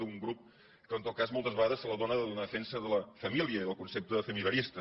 d’un grup que en tot cas moltes vegades se la dóna de donar defensa de la família i del concepte familiarista